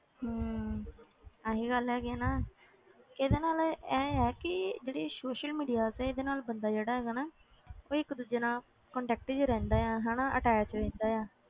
ਹਮ ਆਹੀ ਗੱਲ ਹੈਗੀ ਹੈ ਨਾ ਇਹਦੇ ਨਾਲ ਇਹ ਹੈ ਕਿ ਜਿਹੜੀ social media ਤੇ ਇਹਦੇ ਨਾਲ ਬੰਦਾ ਜਿਹੜਾ ਹੈਗਾ ਨਾ ਉਹ ਇੱਕ ਦੂਜੇ ਨਾਲ contact 'ਚ ਰਹਿੰਦਾ ਆ ਹਨਾ attach ਰਹਿੰਦਾ ਆ,